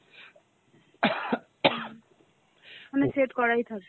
মানে set করাই থাকে